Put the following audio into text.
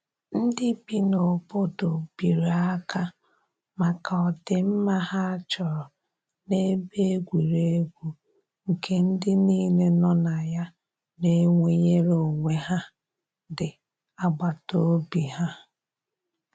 ndi bi na obodo biri aka maka odi mma ha chọrọ na ebe egwuregwu nke ndi nile no na ya na enweyere onwe ha di agbata obi ha.